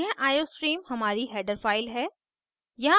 यह iostream हमारी header file है